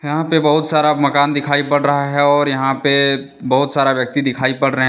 यहां पे बहुत सारा मकान दिखाई पड़ रहा है और यहां पे बहुत सारा व्यक्ति दिखाई पड़ रहे हैं।